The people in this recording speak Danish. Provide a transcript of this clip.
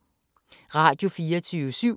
Radio24syv